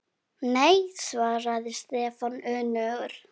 Nei svaraði Stefán önugur.